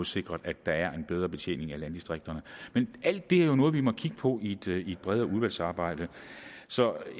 sikret at der er en bedre betjening af landdistrikterne men alt det er jo noget vi må kigge på i et bredere udvalgsarbejde så